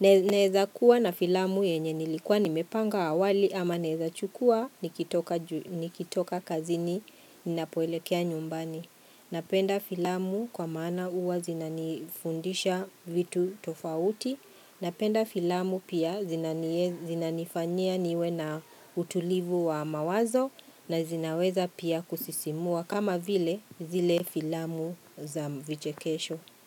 naeza kuwa na filamu yenye nilikuwa nimepanga awali ama naeza chukua nikitoka kazini ninapoelekea nyumbani. Napenda filamu kwa maana huwa zinanifundisha vitu tofauti. Napenda filamu pia zinanifanyia niwe na utulivu wa mawazo na zinaweza pia kusisimua kama vile zile filamu za vichekesho.